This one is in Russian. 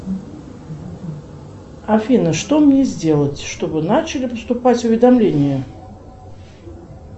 афина что мне сделать чтобы начали поступать уведомления